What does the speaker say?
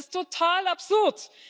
Das ist total absurd!